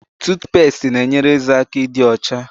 Tutupesti na enyere ézè aka ịdị ocha